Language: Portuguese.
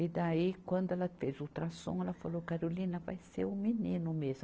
E daí, quando ela fez o ultrassom, ela falou, Carolina, vai ser um menino mesmo.